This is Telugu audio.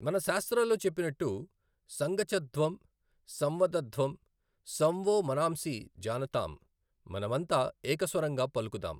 మన శాస్త్రాల్లో చెప్పినట్టు సంగచ్ఛద్వం సంవదధ్వం సం వో మనాంసి జానతామ్ మనం అంతా ఏకస్వరంగా పలుకుదాం.